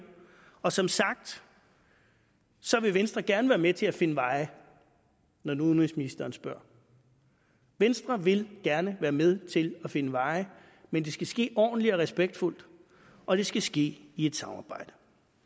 og som sagt vil venstre gerne være med til at finde veje når nu udenrigsministeren spørger venstre vil gerne være med til at finde veje men det skal ske ordentligt og respektfuldt og det skal ske i et samarbejde